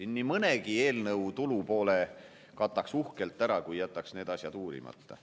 Nii mõnegi eelnõu tulupoole kataks uhkelt ära, kui jätaks need asjad uurimata.